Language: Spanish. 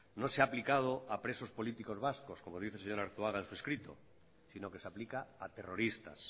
no se ha aplicado a presos políticos vascos como dice el señor arzuaga en su escrito sino que se aplica a terroristas